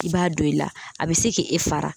I b'a don i la a be se ke e fara